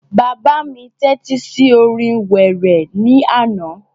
Bàbá mi tẹ́tí sí orin wéré ní àná